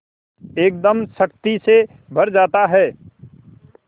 एकदम शक्ति से भर जाता है